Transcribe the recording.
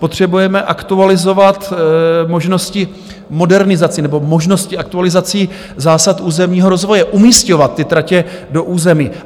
Potřebujeme aktualizovat možnosti modernizací nebo možnosti aktualizací zásad územního rozvoje, umisťovat ty tratě do území.